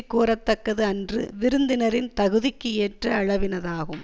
கூற தக்கது அன்று விருந்தினரின் தகுதிக்கு ஏற்ற அளவினதாகும்